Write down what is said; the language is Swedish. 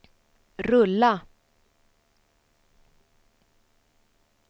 rulla